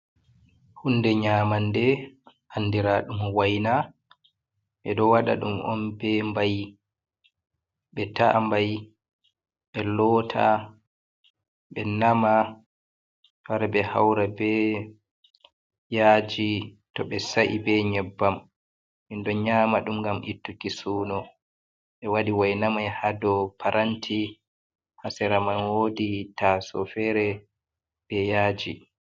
Hunde nyamande andira ɗum waina ɓeɗo waɗa ɗum on be mbai ɓe ta’a mbai ɓe lota, ɓe nama, ɓe wara ɓe haura be yaji to ɓe sa’i be nyebbam min ɗo nyama ɗum ngam ittuki suno ɓe waɗi waina mai ha dou paranti ha sera man woodi taso fere be yaji.